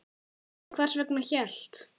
En hvers vegna hélt